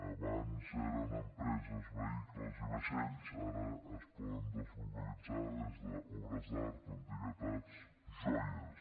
abans eren empreses vehicles i vaixells ara es poden deslocalitzar des d’obres d’art antiguitats joies